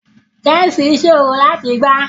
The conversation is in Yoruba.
Chessi sọrọ lati gbà.